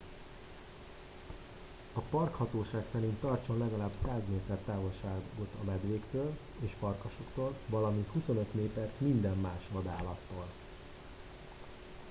a parkhatóság szerint tartson legalább 100 méter távolságot a medvéktől és farkasoktól valamint 25 métert minden más vadállattól